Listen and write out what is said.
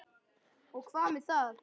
SOPHUS: Og hvað með það?